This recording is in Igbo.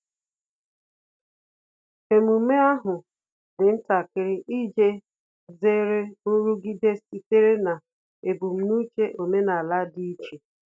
Emume ahu dị ntakịrị iji zere nrụgide sitere na ebum n'uche omenala dị iche